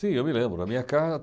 Sim, eu me lembro. Na minha